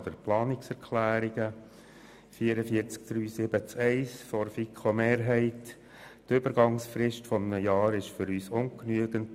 Zu Planungserklärung 1 der FiKo-Mehrheit: Die Übergangsfrist von einem Jahr ist für uns ungenügend.